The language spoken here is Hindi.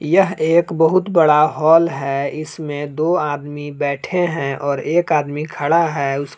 यह एक बहुत बड़ा हाल है इसमें दो आदमी बैठे हैं और एक आदमी खड़ा है।